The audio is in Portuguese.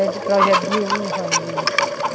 É, de projeto de uva ali.